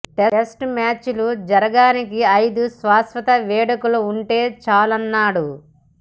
test మ్యాచ్లు జరగానికి ఐదు శాశ్వత వేదికలు ఉంటే చాలన్నాడు